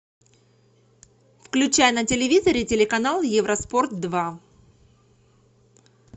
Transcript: включай на телевизоре телеканал евро спорт два